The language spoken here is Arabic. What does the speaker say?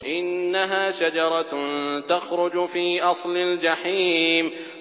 إِنَّهَا شَجَرَةٌ تَخْرُجُ فِي أَصْلِ الْجَحِيمِ